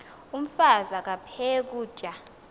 umfaz aphek ukutya